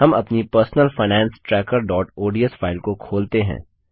हम अपनी personal finance trackerओडीएस फाइल को खोलते हैं